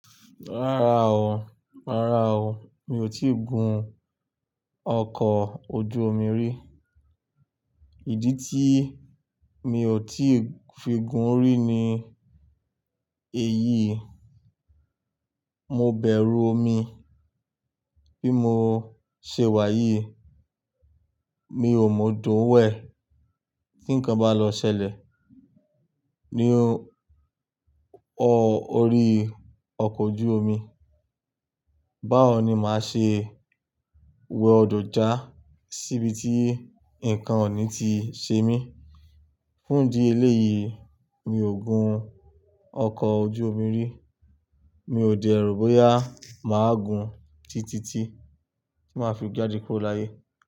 Rárá o, rárá o. Mi ò tíì gun ọkọ̀ ojú omi rí. Ìdí tí mi ò tíì fi gun orí ní èyí, mo bẹ̀rù omi bí mo ṣe wá yìí, mi ò mọ̀ odo wẹ̀ tí nǹkan bá lọ ṣẹlẹ̀ nínú ọ̀ orí ọkọ̀ ojú omi. Báwo ni màá ṣe wọ ọ̀dọ̀ já síbi tí nǹkan ọ̀ní ti ṣe mí? Fún ìdí eléyìí mi ò gun ọkọ̀ ojú omi rí. Mi ò dẹ̀ ro bóyá màá gun títí tí màá fi jáde kúrò láyé.